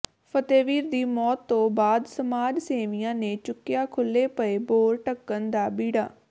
ਫਤਿਹਵੀਰ ਦੀ ਮੌਤ ਤੋਂ ਬਾਅਦ ਸਮਾਜ ਸੇਵੀਆਂ ਨੇ ਚੁੱਕਿਆ ਖੁੱਲ੍ਹੇ ਪਏ ਬੋਰ ਢੱਕਣ ਦਾ ਬੀੜਾ